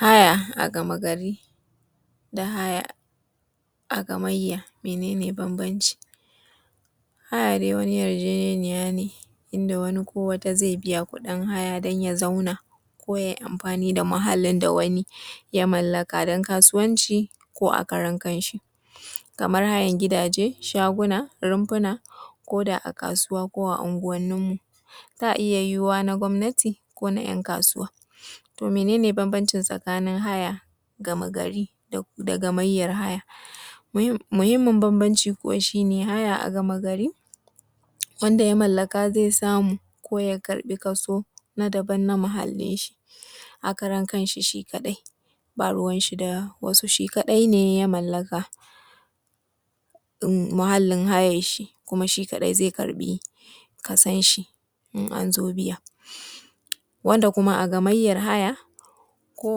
Haya a gamagari da haya a gamayya mene ne banbanci Haya dai wani yarjejeniya ne inda wani ko wata zai biya kuɗi don ya zauna ko kuma yai amfani da muhallin da wani ya mallaka don kasuwanci ko a karan kanshi kaman hayan gidaje, shaguna, rumfuna ko da a kasuwanni ko a anguwanni suna iya yiwuwa na gwamnati ko na ‘yan kasuwa. To, mene ne bambanci tsakanin haya gamagari da gamayyar haya Muhimmin bambanci kuwa shi ne haya a gamagari wanda ya mallaka zai sa a yi ko ya karɓi kaso na muhallin shi a karan kanshi, shi kadai ba ruwan shi da wasu, shi kadai ne ya mallaka muhallin hayan, shi ko kuma shi kadai zai karɓi kason shi in an zo biya wanda kuma a gamayyar haya ko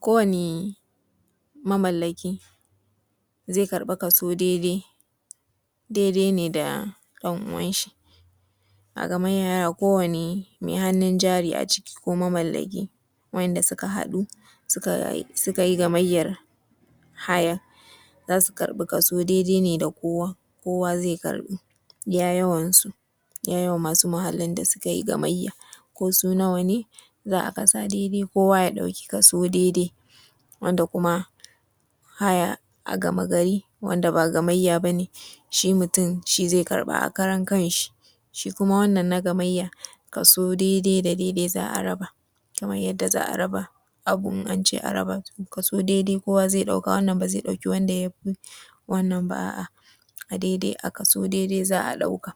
wani mamallaki zai karɓi kaso daidai da ɗan uwanshi ko wani mai hannun jari wanda suka haɗu suka yi gamayyar hayan za su karɓi kaso ne daidai da na kowa iya yawan su ko su nawa ne za a kasa daidai kowa ya ɗauki kaso daidai. Wanda kuma haya a gamagari shi mutun shi zai karɓa a karan kanshi shi kuma na gamayya kaso daidai za a raba, wani ba zai ɗauki ya fi na wani ba daidai za a ɗauka.